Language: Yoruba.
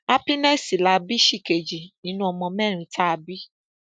happiness la bí ṣìkejì nínú ọmọ mẹrin tá a bí